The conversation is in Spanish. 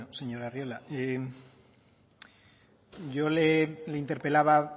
señor arriola yo le interpelaba